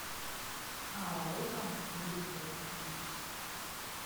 араиком викторовичем